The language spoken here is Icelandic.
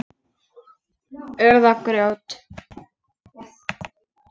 Urð og grjót.